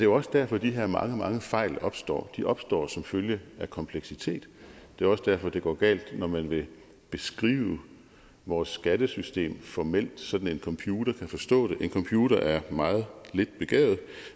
også derfor de her mange mange fejl opstår de opstår som følge af kompleksitet det er også derfor det går galt når man vil beskrive vores skattesystem formelt så en computer kan forstå det en computer er meget lidt begavet